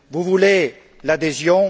Vous voulez l'adhésion.